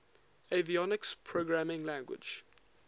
avionics programming language